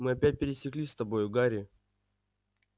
мы опять пересеклись с тобою гарри